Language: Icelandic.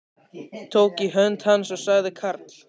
Tók í hönd hans og sagði Karl